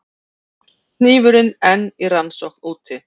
Hnífurinn enn í rannsókn úti